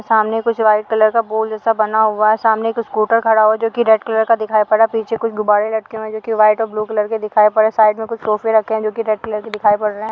सामने कुछ white colour का बॉल जैसा बना हुआ है सामने एक स्कूटर खड़ा हुआ है जो कि रेड कलर का दिखाई पड़ रहा है पीछे कुछ गुब्बारे लटके हुए हैं जो कि व्हाइट और ब्लू कलर के दिखाई पड़ रहे हैं साइड में कुछ सोफे रखे हैं जो की रेड कलर के दिखाई पड़ रहे हैं।